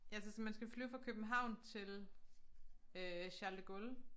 Ja så så man skal flyve fra København til øh Charles de Gaulle